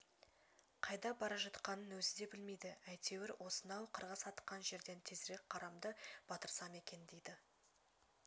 қайда бара жатқанын өзі де білмейді әйтеуір осынау қарғыс атқан жерден тезірек қарамды батырсам екен дейді